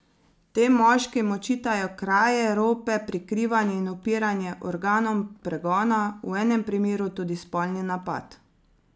Tem moškim očitajo kraje, rope, prikrivanje in upiranje organom pregona, v enem primeru tudi spolni napad.